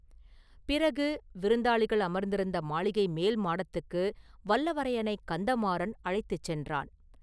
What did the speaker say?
பிறகு, விருந்தாளிகள் அமர்ந்திருந்த மாளிகை மேல் மாடத்துக்கு வல்லவரையனைக் கந்தமாறன் அழைத்துச் சென்றான்.